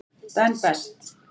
Ben Best.